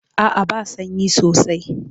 A'a ba sanyi sosai.